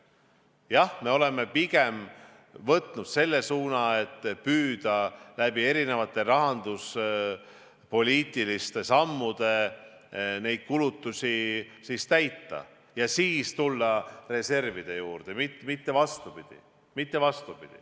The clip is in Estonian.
Jah, me oleme pigem võtnud selle suuna, et püüda erinevate rahanduspoliitiliste sammudega neid kulutusi katta ja siis minna reservide juurde, mitte vastupidi.